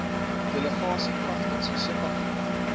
delegasie kragtens subartikel